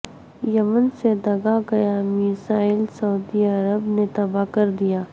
یمن سے داغا گیا میزائل سعودی عرب نے تباہ کر دیا